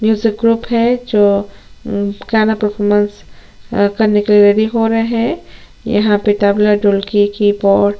music group है जो अम गाना परफॉरमेंस करने के लिए रेडी हो रहै है यहाँ पे तबला ढोलकी की पॉट --